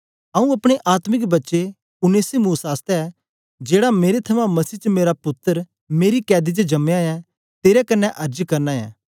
आऊँ अपने आत्मिक बच्चे उनेसिमुस आसतै जेड़ा मेरे थमां मसीह च मेरा पुत्तर मेरी कैद च जम्मयां ऐ तेरे कन्ने अर्ज करना ऐं